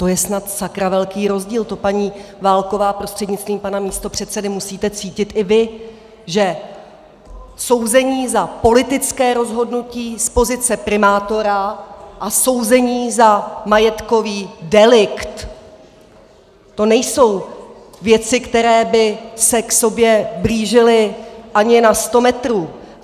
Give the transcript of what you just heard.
To je snad sakra velký rozdíl, to paní Válková, prostřednictvím pana místopředsedy, musíte cítit i vy, že souzení za politické rozhodnutí z pozice primátora a souzení za majetkový delikt, to nejsou věci, které by se k sobě blížily ani na sto metrů.